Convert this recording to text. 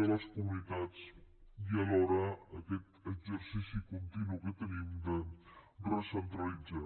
de les comunitats i alhora aquest exercici continu que tenim de recentralitzar